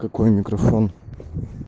какой микрофон